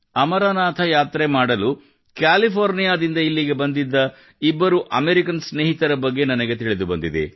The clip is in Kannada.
ಅಮರನಾಥ ಯಾತ್ರೆ ಮಾಡಲು ಕ್ಯಾಲಿಫೋರ್ನಿಯಾದಿಂದ ಇಲ್ಲಿಗೆ ಬಂದಿದ್ದ ಇಬ್ಬರು ಅಮೇರಿಕನ್ ಸ್ನೇಹಿತರ ಬಗ್ಗೆ ನನಗೆ ತಿಳಿದು ಬಂದಿದೆ